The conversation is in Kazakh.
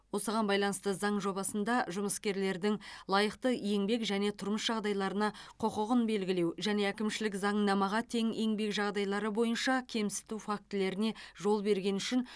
осыған байланысты заң жобасында жұмыскердің лайықты еңбек және тұрмыс жағдайларына құқығын белгілеу және әкімшілік заңнамаға тең еңбек жағдайлары бойынша кемсіту фактілеріне жол бергені үшін